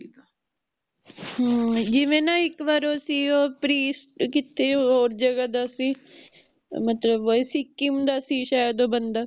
ਹਾਂ ਜਿਵੇ ਨਾ ਉਹ ਇਕ ਵਾਰ ਓ ਸੀ ਉਹ ਪ੍ਰਿਸਟ ਕਿਸੇ ਹੋਰ ਜਗਾਹ ਦਾ ਸੀ ਮਤਲਬ ਵੀ ਸਿੱਕਮ ਦਾ ਸੀ ਸ਼ਾਇਦ ਓ ਬੰਦਾ